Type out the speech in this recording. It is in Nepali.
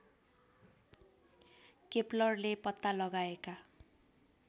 केप्लरले पत्ता लगाएका